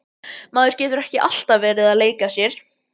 Maður getur ekki alltaf verið að leika sér.